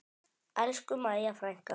Elsku Mæja frænka.